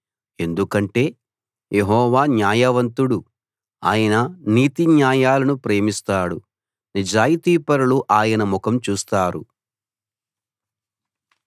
ఎందుకంటే యెహోవా న్యాయవంతుడు ఆయన నీతిన్యాయాలను ప్రేమిస్తాడు నిజాయితీపరులు ఆయన ముఖం చూస్తారు